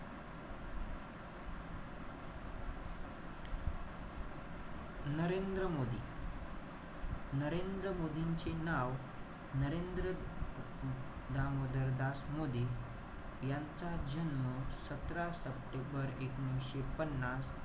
नरेंद्र मोदी, नरेंद्र मोदींचे नाव, नरेंद्र दामोदरदास मोदी यांचा जन्म सतरा सप्टेंबर एकोणीशे पन्नास,